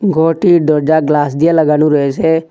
ঘরটির দরজা গ্লাস দিয়ে লাগানো রয়েসে।